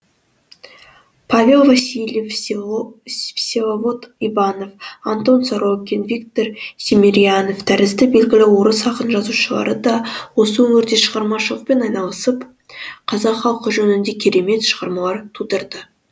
павел васильев всеволод иванов антон сорокин виктор семерьянов тәрізді белгілі орыс ақын жазушылары да осы өңірде шығармашылықпен айналысып қазақ халқы жөнінде керемет шығармалар тудырды